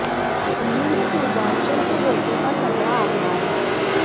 दिल्ली में पूर्वाञ्चल के वोटों का तगड़ा आधार है